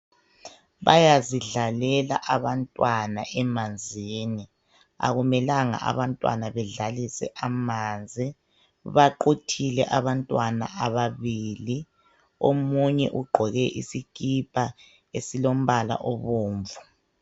Bayazidlalela abantwana emanzini , akumelanga abantwana bedlalise amanzi baquthile abantwana ababili omunye ugqoke isikipa esilo mbala obomvu..